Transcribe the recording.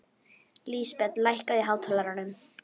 Lísbet, lækkaðu í hátalaranum.